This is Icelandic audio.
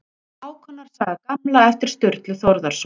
hákonar saga gamla eftir sturlu þórðarson